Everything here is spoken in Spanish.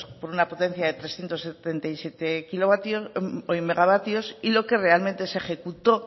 con una potencia de trescientos setenta y siete megavatios y lo que realmente se ejecutó